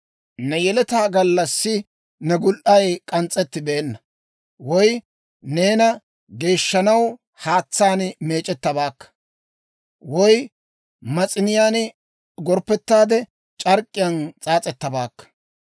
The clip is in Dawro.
Ne yeletay gallassi ne gul"ay k'ans's'ettibeenna; woy neena geeshshanaw haatsaan meec'ettabaakka; woy mas'iniyaan gorppettaade c'ark'k'iyaan s'aas'ettabaakka.